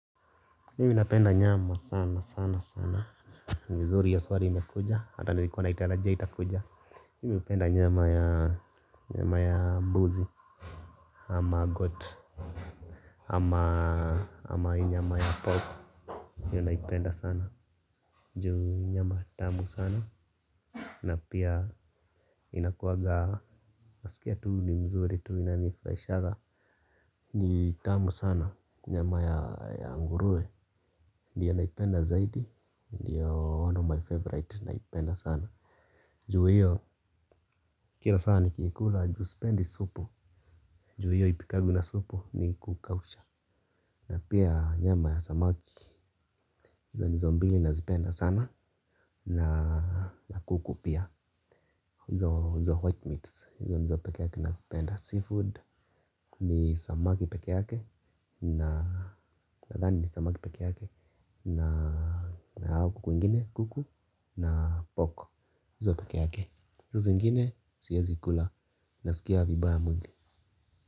Mimi napenda nyama sana sana sana ni vizuri hiyo swali imekuja hata nilikuwa naitarajia itakuja mimi hupenda nyama ya mbuzi ama goat ama hii nyama ya pork hiyo naipenda sana juu nyama tamu sana na pia inakuaga nasikia tu ni nzuri tu inanifurahishanga ni tamu sana nyama ya nguruwe. Ndiyo naipenda zaidi, ndiyo one of my favorite naipenda sana. Juu hiyo kila saa nikiikula juu sipendi supu. Juu hiyo haipikagwi na supu ni kukausha. Na pia nyama ya samaki, hizo ndizo mbili nazipenda sana. Na kuku pia, hizo white meats, hizo ndizo peke yake nazipenda Seafood ni samaki peke yake, nadhani ni samaki peke yake. Na hawa kuku wengine kuku. Na pork hizo peke yake hizo zingine siezi kula. Nasikia vibaya mwili.